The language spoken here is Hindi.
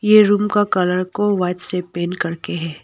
ये रूम का कलर को व्हाइट से पेंट करके है।